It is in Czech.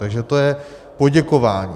Takže to je poděkování.